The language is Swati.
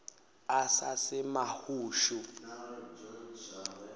asasemahushu